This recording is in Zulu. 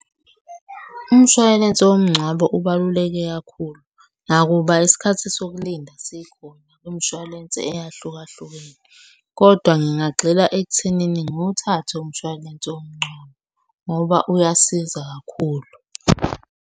Umshwalense womngcwabo ubaluleke kakhulu nakuba isikhathi sokulinda sikhona kwimishwalense eyahlukahlukene, kodwa ngingagxila ekuthenini ngiwuthathe umshwalense womngcwabo ngoba uyasiza kakhulu.